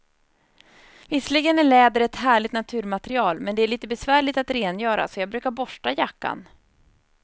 Visserligen är läder ett härligt naturmaterial, men det är lite besvärligt att rengöra, så jag brukar borsta jackan.